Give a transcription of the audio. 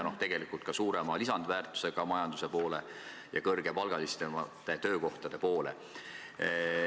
Tegelikult ka suurema lisandväärtusega majanduse poole ja kõrgepalgalisemate töökohtade poole.